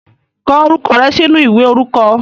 Kọ orúkọ rẹ sínú ìwé orúkọ.